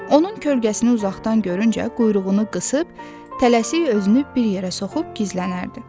Onun kölgəsini uzaqdan görüncə quyruğunu qısıb, tələsik özünü bir yerə soxub gizlənərdi.